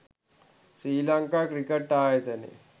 ශ්‍රී Lanka cricket ආයතනය